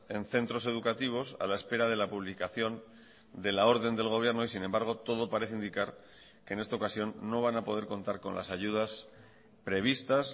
en centros educativos a la espera de la publicación de la orden del gobierno y sin embargo todo parece indicar que en esta ocasión no van a poder contar con las ayudas previstas